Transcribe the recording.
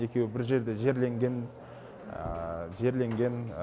екеуі бір жерде жерленген жерленген